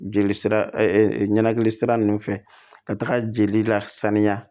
Jeli sira ɲanakili sira nunnu fɛ ka taa jeli lasaniya